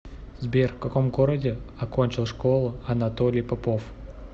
сбер в каком городе окончил школу анатолий попов